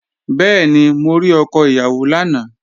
Bẹ́ẹ̀ni, mo rí ọkọ ìyàwó lánàá